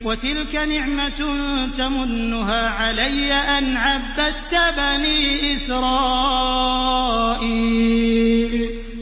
وَتِلْكَ نِعْمَةٌ تَمُنُّهَا عَلَيَّ أَنْ عَبَّدتَّ بَنِي إِسْرَائِيلَ